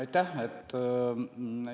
Aitäh!